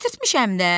Gətirtmişəm də!